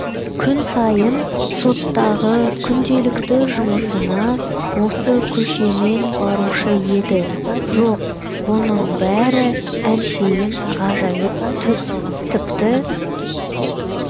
күн сайын соттағы күнделікті жұмысына осы көшемен барушы еді жоқ бұның бәрі әншейін ғажайып түс тіпті